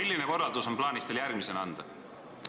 Milline korraldus on teil plaanis järgmisena anda?